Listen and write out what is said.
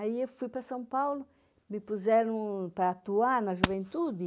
Aí eu fui para São Paulo, me puseram para atuar na juventude.